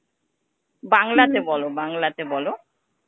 বাংলাতে বলো বাংলাতে বলো.